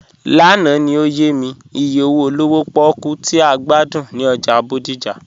Lánà ni ọ̀yẹ̀ mi ìyẹ̀ owo olówò pòkú tì a gbàdún ni ọ́jà Bódìjà.